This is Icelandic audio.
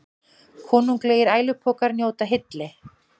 Konunglegir ælupokar njóta hylli